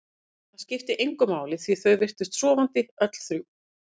En það skipti engu máli því þau virtust sofandi, öll þrjú.